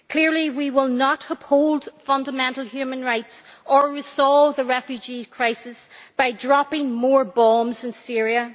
Clearly we will not uphold fundamental human rights or resolve the refugee crisis by dropping more bombs on Syria.